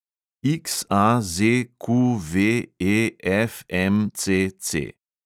XAZQVEFMCC